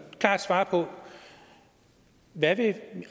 klart svare på hvad